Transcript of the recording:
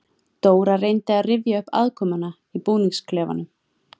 Dóra reyndi að rifja upp aðkomuna í búningsklefanum.